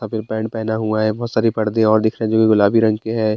आपन पैंट पहना हुआ है बहुत सारे पर्दे और दिख रहें हैं जो की गुलाबी रंग के हैं।